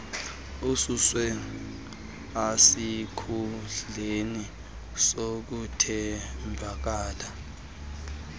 ususwe esikhundleni sokuthembeka